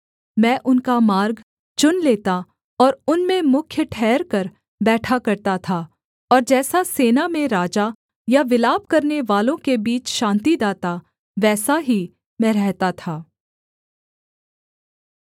मैं उनका मार्ग चुन लेता और उनमें मुख्य ठहरकर बैठा करता था और जैसा सेना में राजा या विलाप करनेवालों के बीच शान्तिदाता वैसा ही मैं रहता था